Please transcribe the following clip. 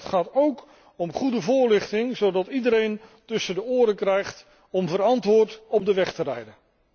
Maar het gaat ook om goede voorlichting zodat iedereen tussen de oren krijgt om verantwoord op de weg te rijden.